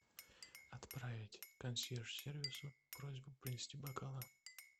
отправить консьерж сервису просьбу принести бокалы